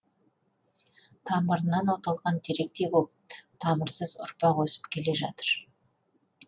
тамырынан оталған теректей боп тамырсыз ұрпақ өсіп келе жатыр